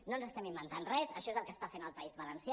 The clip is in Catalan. no ens estem inventant res això és el que està fent el país valencià